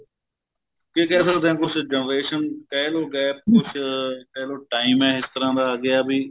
ਕੀ ਕਹਿ ਸਕਦੇ ਆ ਤੁਸੀਂ generation ਕਹਿਲੋ gap ਕੁੱਝ ਕਹਿਲੋ time ਏ ਇਸ ਤਰ੍ਹਾਂ ਦਾ ਆ ਗਿਆ ਵੀ